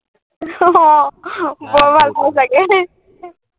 অ অ বৰ ভাল পোৱা চাগে